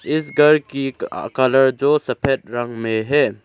इस घर की कलर जो सफेद रंग में है।